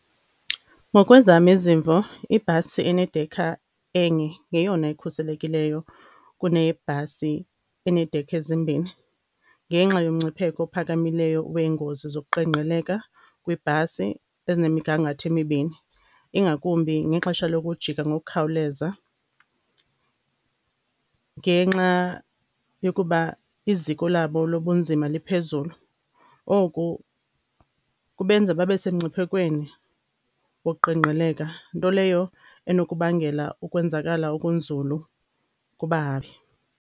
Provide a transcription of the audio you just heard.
Ngokwezam izimvo, ibhasi enedekha enye yeyona ikhuselekileyo kunebhasi eneedekha ezimbini. Ngenxa yomngcipheko ophakamileyo weengozi zokuqengqeleka kweebhasi ezinemigangatho emibini, ingakumbi ngexesha lokuijika ngokukhawuleza, ngenxa yokuba iziko labo lobunzima liphezulu. Oku kubenza babe semngciphekweni woqengqeleka, nto leyo enokubangela ukwenzakala okunzulu kubahambi.